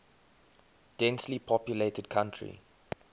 densely populated country